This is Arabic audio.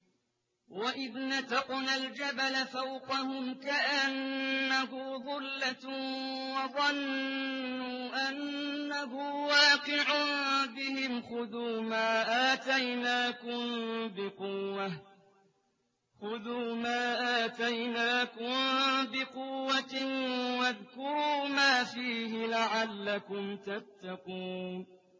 ۞ وَإِذْ نَتَقْنَا الْجَبَلَ فَوْقَهُمْ كَأَنَّهُ ظُلَّةٌ وَظَنُّوا أَنَّهُ وَاقِعٌ بِهِمْ خُذُوا مَا آتَيْنَاكُم بِقُوَّةٍ وَاذْكُرُوا مَا فِيهِ لَعَلَّكُمْ تَتَّقُونَ